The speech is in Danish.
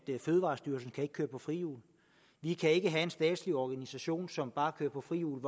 fødevarestyrelsen ikke kan køre på frihjul vi kan ikke have en statslig organisation som bare kører på frihjul